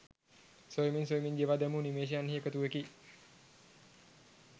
සොයමින් සොයමින් ගෙවා දැමූ නිමේෂයන් හි එකතුවකි